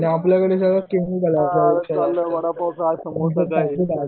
vada pav